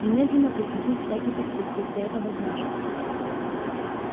немедленно прекратить всякий подкуп если это возможно